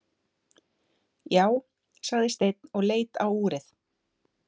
Já, sagði Steinn og leit á úrið.